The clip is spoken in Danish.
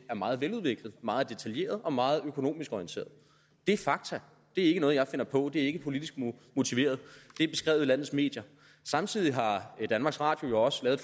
er meget veludviklet meget detaljeret og meget økonomisk orienteret det er fakta det er ikke noget jeg finder på det er ikke politisk motiveret det er beskrevet i landets medier samtidig har danmarks radio jo også lavet